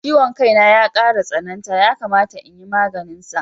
Ciwon ƙai na ya ƙara tsananta, yakamata in yi maganinsa.